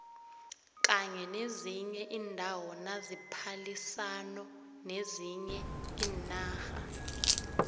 kanye nezinye indawo naziphalisano nezinye inarha